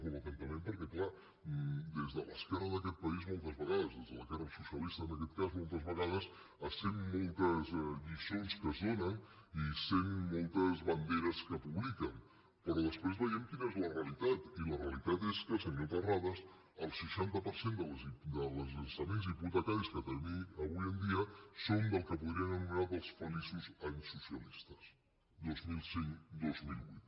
molt atentament perquè és clar des de l’esquerra d’aquest país moltes vegades des de l’esquerra socialista en aquest cas moltes vegades se sent moltes lliçons que es donen i se sent moltes banderes que publiquen però després veiem quina és la realitat i la realitat és que senyor terrades el seixanta per cent dels llançaments hipo·tecaris que tenim avui en dia són del que podríem ano·menar els feliços anys socialistes dos mil cinc·dos mil vuit